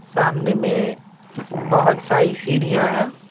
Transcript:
सामने में बहुत सारी सीढ़ियां हैं।